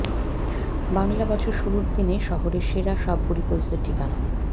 বাংলা বছর শুরুর দিনে শহরের সেরা সব ভুরিভোজের ঠিকানা